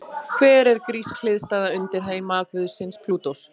Hver er grísk hliðstæða undirheimaguðsins Plútós?